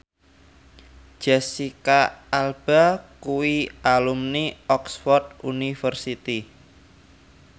Jesicca Alba kuwi alumni Oxford university